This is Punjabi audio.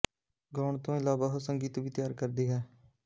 ਗਾਉਣ ਤੋਂ ਇਲਾਵਾ ਉਹ ਸੰਗੀਤ ਵੀ ਤਿਆਰ ਕਰਦੀ ਹੈ